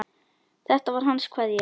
Þetta var hans kveðja.